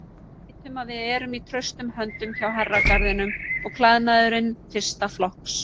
Við vitum að við erum í traustum höndum hjá Herragarðinum og klæðnaðurinn fyrsta flokks.